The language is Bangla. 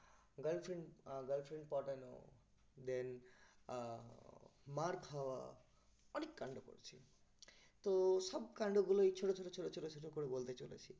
girlfriend আহ girlfriend পটানো then আহ মার খাওয়া অনেক কান্ড করেছি তো এ সব কান্ড গুলোই ছোট ছোট ছোট ছোট ছোট করে বলতে চলেছি